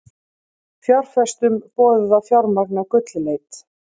Fjárfestum boðið að fjármagna gullleit